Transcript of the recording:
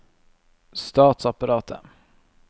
statsapparatet